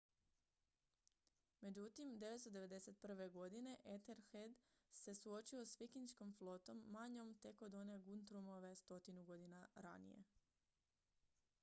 međutim 991. godine ethelred se suočio s vikinškom flotom manjom tek od one guthrumove stotinu godina ranije